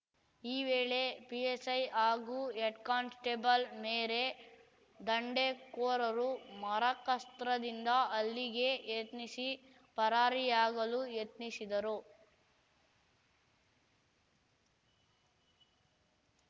ಈ ವೇಳೆ ಪಿಎಸ್‌ಐ ಹಾಗೂ ಹೆಡ್‌ಕಾನ್ಸ್‌ಟೇಬಲ್‌ ಮೇರೇ ದಂಡೇಕೋರರು ಮರಕಾಸ್ತ್ರದಿಂದ ಹಲ್ಲಿಗೆ ಯತ್ನಿಸಿ ಪರಾರಿಯಾಗಲು ಯತ್ನಿಸಿದ್ದರು